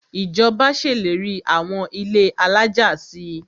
Ìjọba ṣèlérí àwọn ilé alájà si.